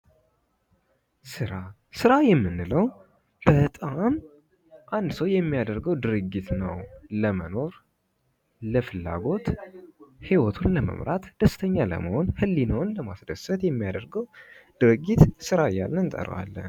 ስራ የምንለው በጣም አንድ ሰው የሚያደርገው ድርጊት ነው። ለመኖር ለፍላጎት ህይወትን ለመምራት ደስተኛ ለመሆን ህሊናውን ለማስደሰት የሚያደርገው ድርጊት ስራ እያልን እንጠራዋለን።